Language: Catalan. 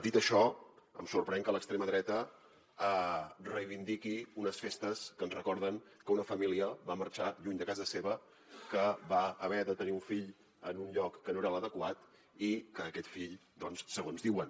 dit això em sorprèn que l’extrema dreta reivindiqui unes festes que ens recorden que una família va marxar lluny de casa seva que va haver de tenir un fill en un lloc que no era l’adequat i que aquest fill segons diuen